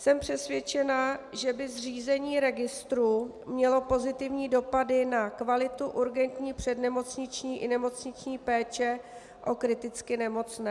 Jsem přesvědčena, že by zřízení registru mělo pozitivní dopady na kvalitu urgentní přednemocniční i nemocniční péče o kriticky nemocné.